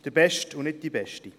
Der Beste, und nicht die Beste.